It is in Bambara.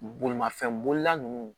Bolimafɛn bolila nunnu